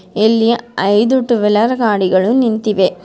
ಇಲ್ಲಿ ಐದು two wheeler ಗಾಡಿಗಳು ನಿಂತಿವೆ.